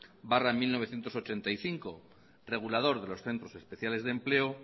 barra mil novecientos ochenta y cinco regulador de los centros especiales de empleo